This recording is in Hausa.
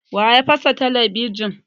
Wa ya fasa talabijin?